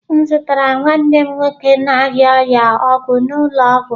M zụtara nwanne m nwoke na-arịa ọrịa ọgwụ n'ụlọ ọgwụ.